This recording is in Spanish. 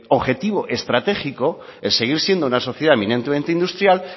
objetivo estratégico el seguir siendo una sociedad eminentemente industrial